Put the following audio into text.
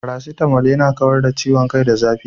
Paracetamol yana kawar da ciwon kai da zafi.